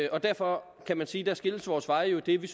og derfor kan man sige at der skilles vores veje jo idet det